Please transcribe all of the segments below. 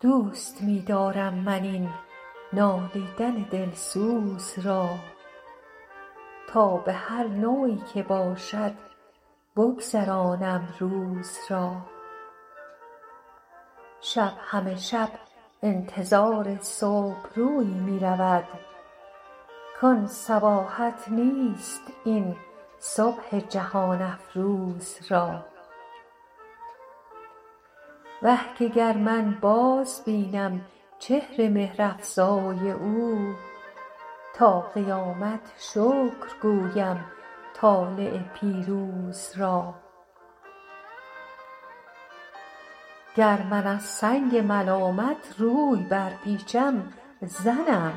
دوست می دارم من این نالیدن دلسوز را تا به هر نوعی که باشد بگذرانم روز را شب همه شب انتظار صبح رویی می رود کان صباحت نیست این صبح جهان افروز را وه که گر من بازبینم چهر مهرافزای او تا قیامت شکر گویم طالع پیروز را گر من از سنگ ملامت روی برپیچم زنم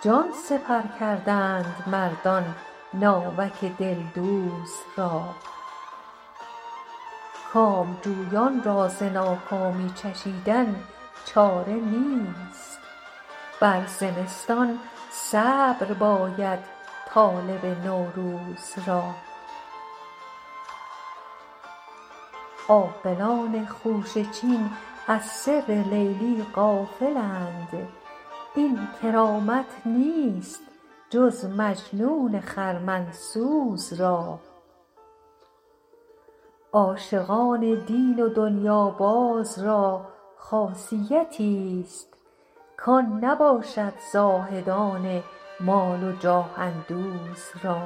جان سپر کردند مردان ناوک دلدوز را کامجویان را ز ناکامی چشیدن چاره نیست بر زمستان صبر باید طالب نوروز را عاقلان خوشه چین از سر لیلی غافلند این کرامت نیست جز مجنون خرمن سوز را عاشقان دین و دنیاباز را خاصیتیست کان نباشد زاهدان مال و جاه اندوز را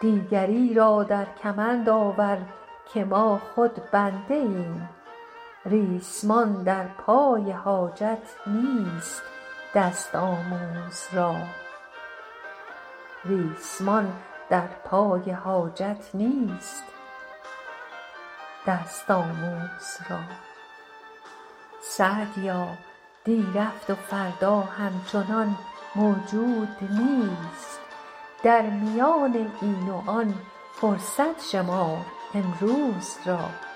دیگری را در کمند آور که ما خود بنده ایم ریسمان در پای حاجت نیست دست آموز را سعدیا دی رفت و فردا همچنان موجود نیست در میان این و آن فرصت شمار امروز را